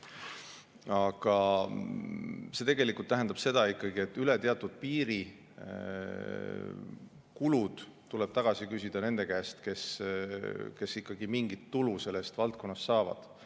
Aga see tegelikult tähendab ikkagi seda, et üle teatud piiri kulud tuleb tagasi küsida nende käest, kes sellest valdkonnast mingit tulu saavad.